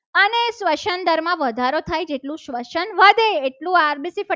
શ્વસન દરમાં વધારો થાય છે. તેટલું શ્વસન વધે.